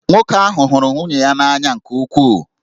Nwoke ahụ hụrụ nwunye ya n'anya nke ukwuu